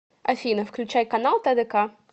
афина включай канал тдк